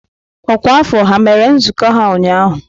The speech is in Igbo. Ọkwa afọ ha mere nzukọ ha ụnyahụ?